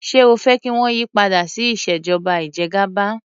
Ṣé o fẹ́ kí wọ́n yí padà sí ìṣèjọba ìjẹgàba?